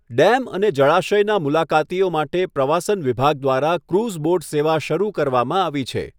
Dam અને જળાશયના મુલાકાતીઓ માટે પ્રવાસન વિભાગ દ્વારા ક્રુઝ બોટ સેવા શરૂ કરવામાં આવી છે.